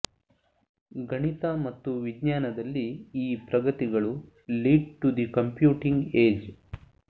ಗಣಿತ ಮತ್ತು ವಿಜ್ಞಾನದಲ್ಲಿ ಈ ಪ್ರಗತಿಗಳು lead to the computing age